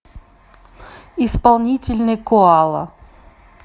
исполнительный коала